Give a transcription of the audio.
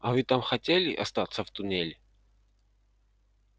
а вы там хотели остаться в туннеле